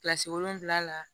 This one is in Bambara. Kilasi wolonwula la